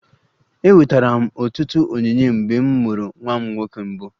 Enwetara m ọtụtụ onyinye mgbe m mụrụ nwa m nwoke mbụ